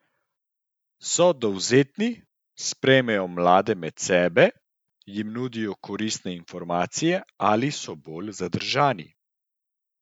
So dovzetni, sprejmejo mlade med sebe, jim nudijo koristne informacije ali so bolj zadržani?